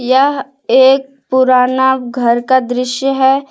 यह एक पुराना घर का दृश्य है।